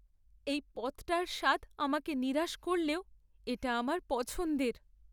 এই পদটার স্বাদ আমাকে নিরাশ করলেও এটা আমার পছন্দের।